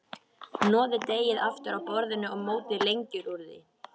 Hnoðið deigið aftur á borði og mótið lengjur úr því.